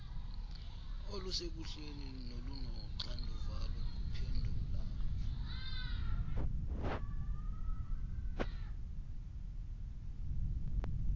olusekuhleni nolunoxanduva lokuphendula